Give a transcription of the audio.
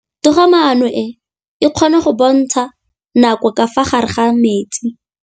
Toga-maanô e, e kgona go bontsha nakô ka fa gare ga metsi.